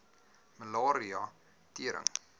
malaria tering